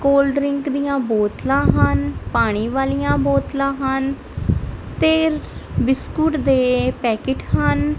Cold drink ਦੀਆਂ ਬੋਤਲਾਂ ਹਨ ਪਾਣੀ ਵਾਲੀਆਂ ਬੋਤਲਾਂ ਹਨ ਤੇ ਵਿਸਕੁਟ ਦੇ ਪੈਕਟ ਹਨ।